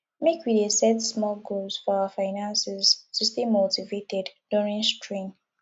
make we dey set small goals for our finances to stay motivated during strain